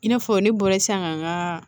I n'a fɔ ne bɔra sisan ka n ka